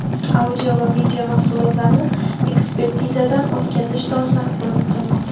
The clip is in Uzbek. audio va video mahsulotlarni ekspertizadan o‘tkazish dolzarb bo‘lib qolmoqda.